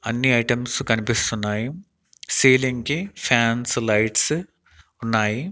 అన్ని ఐటమ్స్ కనిపిస్తున్నాయి సీలింగ్ కి ఫ్యాన్స్ లైట్స్ ఉన్నాయి.